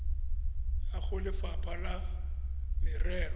ya go lefapha la merero